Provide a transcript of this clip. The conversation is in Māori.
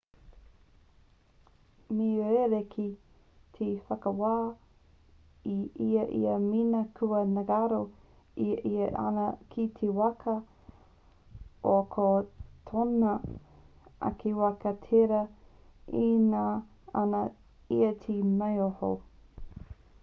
me rerekē te whakawā i a ia mēnā kua ngaro i a ia āna kī waka ā ko tōna ake waka tērā e ngana ana ia te maoho